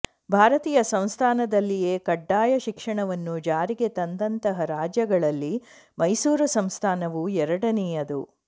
ಭಾರತೀಯ ಸಂಸ್ಥಾನದಲ್ಲಿಯೇ ಕಡ್ಡಾಯ ಶಿಕ್ಷಣವನ್ನು ಜಾರಿಗೆ ತಂದಂತಹ ರಾಜ್ಯಗಳಲ್ಲಿ ಮೈಸೂರು ಸಂಸ್ಥಾನವು ಎರಡನೆಯದು